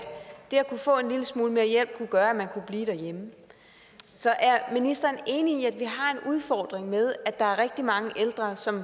få en lille smule mere hjælp kunne gøre at man kunne blive derhjemme så er ministeren enig i at vi har en udfordring med at der er rigtig mange ældre som